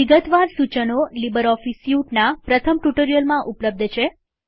વિગતવાર સૂચનો લીબરઓફીસ સ્યુટના પ્રથમ ટ્યુટોરીયલમાં ઉપલબ્ધ છે